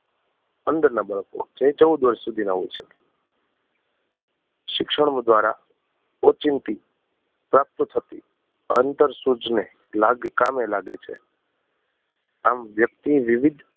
અંદર ના બાળકો જે ચૌદ વર્ષ સુધી ના હોય છે શિક્ષણ દ્વારા ઓચિંતી પ્રાપ્ત થતી અહંતર સૂઝ ને લાગ કામે લાગે છે આમ વ્યકિત વિવિધ